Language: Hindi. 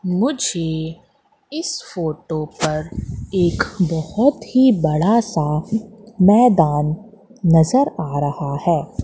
मुझे इस फोटो पर एक बहोत ही बड़ा सा मैदान नजर आ रहा है।